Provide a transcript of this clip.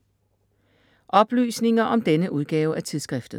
Oplysninger om denne udgave af tidsskriftet